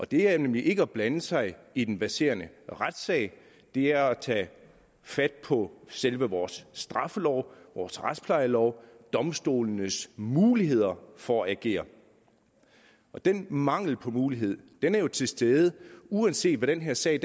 det er nemlig ikke at blande sig i den verserende retssag det er at tage fat på selve vores straffelov vores retsplejelov domstolenes muligheder for at agere den mangel på mulighed er jo til stede uanset hvad den her sag